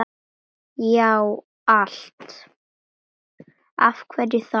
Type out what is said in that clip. Já, allt!